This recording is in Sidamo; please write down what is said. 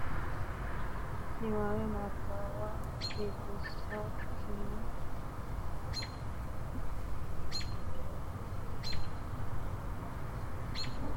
Niwaawe Nabbawa Biddissa kkII AMAlA AMAlkI ArrA Tenne lamalara shiqqinota hasaawu niwaawe ranketenni, xawadu garinni huuro gotti assitine nabbabbe Rosiishsha.